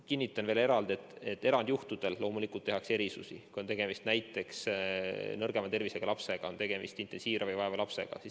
Kinnitan ka seda, et teatud juhtudel loomulikult tehakse erandeid, kui on tegemist näiteks nõrgema tervisega lapsega, kui on tegemist näiteks intensiivravi vajava lapsega.